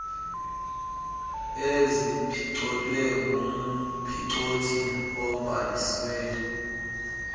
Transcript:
eziphicothwe ngumphicothi obhalisiweyo